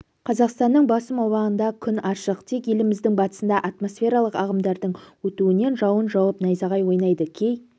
қазақстанның басым аумағында күн ашық тек еліміздің батысында атмосфералық ағымдардың өтуінен жауын жауып найзағай ойнайды кей